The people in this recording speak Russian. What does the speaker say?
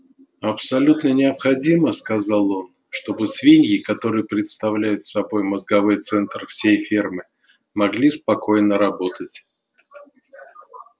абсолютно необходимо сказал он чтобы свиньи которые представляют собой мозговой центр всей фермы могли спокойно работать